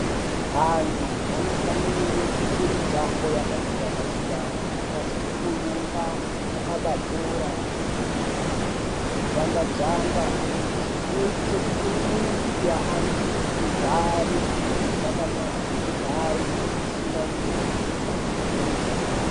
Antu anofanire kuziya mitambo yakasiyana siyana yakaite sekurumba , kukaba bhora, kujamba jamba izvi zvinoite kuti muviri yaantu igare yakanaka igare isina ukosha.